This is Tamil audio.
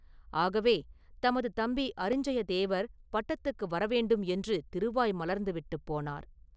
ஆகவே தமது தம்பி அரிஞ்சயதேவர் பட்டத்துக்கு வர வேண்டும் என்று திருவாய் மலர்ந்து விட்டுப் போனார்.